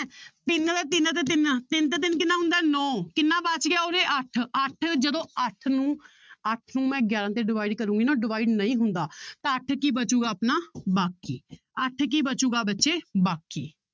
ਤਿੰਨ ਤੇ ਤਿੰਨ, ਤਿੰਨ ਤੇ ਤਿੰਨ ਕਿੰਨਾ ਹੂੰਦਾ ਹੈ ਨੋਂ ਕਿੰਨਾ ਬਚ ਗਿਆ ਉਰੇ ਅੱਠ ਅੱਠ ਜਦੋਂ ਅੱਠ ਨੂੰ ਅੱਠ ਨੂੰ ਮੈਂ ਗਿਆਰਾਂ ਤੇ divide ਕਰਾਂਗੀ ਨਾ divide ਨਹੀਂ ਹੁੰਦਾ ਤਾਂ ਅੱਠ ਕੀ ਬਚੇਗਾ ਆਪਣਾ ਬਾਕੀ ਅੱਠ ਕੀ ਬਚੇਗਾ ਬੱਚੇ ਬਾਕੀ